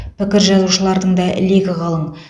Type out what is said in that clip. пікір жазушылардың да легі қалың